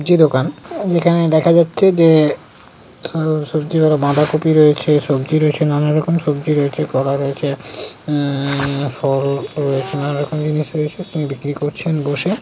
যে দোকান যেখানে দেখা যাচ্ছে যে উ সবজিওয়ালা বাঁধাকপি রয়েছে সবজি রয়েছে নানা রকমের সবজি রয়েছে কলা রয়েছে উমমমম ফল নানা রকম জিনিস রয়েছে তিনি বিক্রি করছে বসে।